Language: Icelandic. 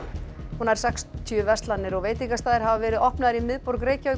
nær sextíu verslanir og veitingastaðir hafa verið opnaðir í miðborg Reykjavíkur